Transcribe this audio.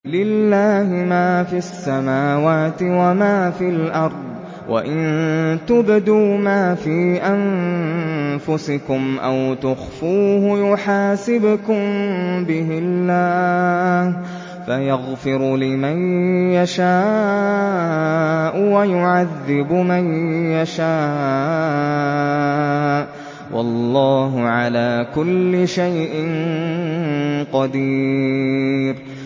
لِّلَّهِ مَا فِي السَّمَاوَاتِ وَمَا فِي الْأَرْضِ ۗ وَإِن تُبْدُوا مَا فِي أَنفُسِكُمْ أَوْ تُخْفُوهُ يُحَاسِبْكُم بِهِ اللَّهُ ۖ فَيَغْفِرُ لِمَن يَشَاءُ وَيُعَذِّبُ مَن يَشَاءُ ۗ وَاللَّهُ عَلَىٰ كُلِّ شَيْءٍ قَدِيرٌ